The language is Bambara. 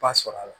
Ba sɔrɔ a la